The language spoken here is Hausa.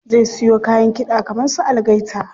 Zai siyo kayan kiɗa kaman su algaita.